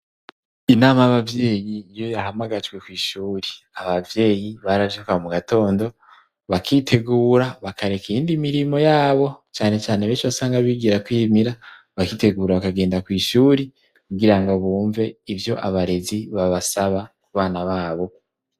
Inama y'abavyeyi iyo yahamagajwe kw'ishuri, abavyeyi baravyuka mu gatondo, bakitegura bakareka iyindi mirimo yabo cane cane benshi wasanga bigira kwimira bakitegura bakagenda kw' ishuri kugira ngo bumve ivyo abarezi babasaba ku bana babo.